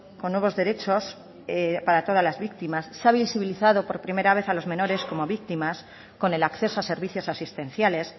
con nuevos derechos para todas las víctimas se ha visibilizado por primera vez a los menores como víctimas con el acceso a servicios asistenciales